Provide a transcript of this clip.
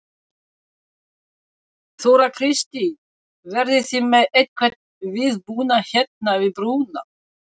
Þóra Kristín: Verðið þið með einhvern viðbúnað hérna við brúna?